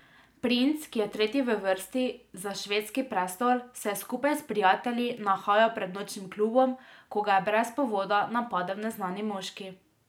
Princ, ki je tretji v vrsti za švedski prestol, se je skupaj s prijatelji nahajal pred nočnim klubom, ko ga je brez povoda napadel neznani moški.